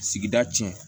Sigida tiɲɛ